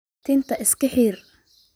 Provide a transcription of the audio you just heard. Tinta iskaxir.